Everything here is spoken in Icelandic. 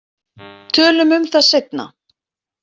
Tölum um það seinna.